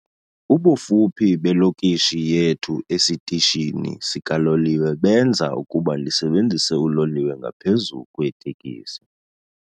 Ubufuphi belokishi yethu esitishini sikaloliwe benza ukuba ndisebenzise uloliwe ngaphezu kweeteksi.